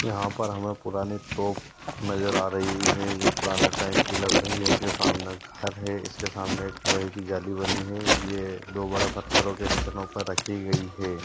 यहाँ पर हमें पुराने तोप नज़र आ रही है जो पुराने टाइम की लग रही है इसके सामने घर है इसके सामने एक लोहे की जाली बनी है ये दो बड़े पत्थरो के स्टेनो पर रखी गइ है।